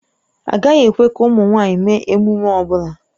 Agaghị ekwe ka ụmụ nwanyị mee emume ọ bụla